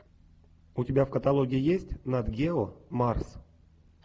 у тебя в каталоге есть нат гео марс